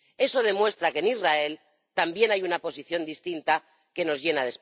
Eso demuestra que en Israel también hay una posición distinta que nos llena de esperanza.